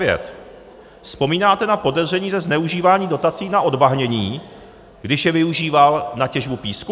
Vzpomínáte na podezření ze zneužívání dotací na odbahnění, když je využíval na těžbu písku?